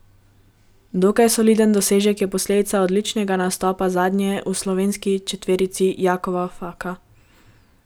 Dokaj soliden dosežek je posledica odličnega nastopa zadnjega v slovenski četverici Jakova Faka.